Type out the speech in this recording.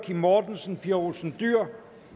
kim mortensen pia olsen dyhr